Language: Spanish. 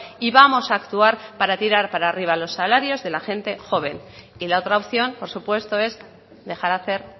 y vamos a actuar para tirar para arriba los salarios de la gente joven y la otra opción por supuesto es dejar hacer